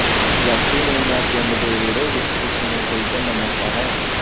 ਯਾਤਰੀ ਨੂੰ ਮੈ ਪਿੰਡ ਦੇ ਵਿਹੜੇ ਵਿਚ ਇਸ ਨੂੰ ਖਰੀਦਣ ਦਾ ਮੌਕਾ ਹੈ